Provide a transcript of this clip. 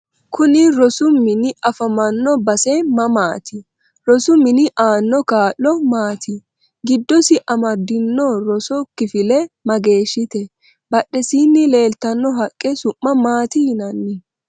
Kuni rosu mini afamanno base mamaati rosu mini aano kaa'lo maati giddosi amadinorosu kifile mageeshite badhesiini leeltanno haqqe su'ma maati yinanni